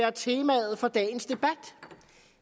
er temaet for dagens debat